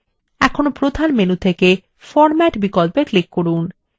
এখন প্রধান menu থেকে format বিকল্পে click করুন